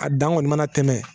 A dan kɔni mana tɛmɛ